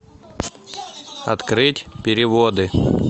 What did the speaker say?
открыть переводы